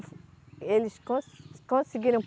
Eles conse, conseguiram